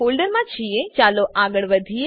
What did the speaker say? હવે જો કે આપણે તે ફોલ્ડરમાં છીએ ચાલો આગળ વધીએ